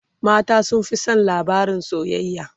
mata sun Fi San labarin soyayya